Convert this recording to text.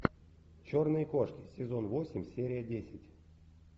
черные кошки сезон восемь серия десять